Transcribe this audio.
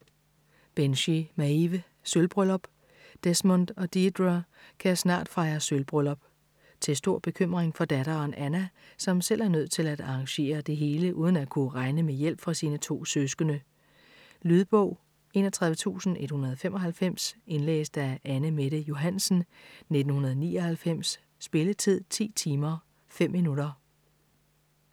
Binchy, Maeve: Sølvbryllup Desmond og Deirdre kan snart fejre sølvbryllup - til stor bekymring for datteren Anna, som selv er nødt til at arrangere det hele uden at kunne regne med hjælp fra sine to søskende. Lydbog 31195 Indlæst af Anne Mette Johansen, 1999. Spilletid: 10 timer, 5 minutter.